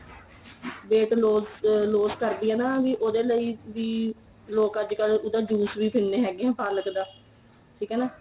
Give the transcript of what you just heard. weight loose loose ਕਰਦੀ ਏ ਨਾ ਵੀ ਉਹਦੇ ਲਈ ਵੀ ਲੋਕ ਅੱਜਕਲ ਉਹਦਾ ਜੂਸ ਵੀ ਪੀਨੇ ਹੈਗੇ ਏ ਪਾਲਕ ਦਾ ਠੀਕ ਏ ਨਾ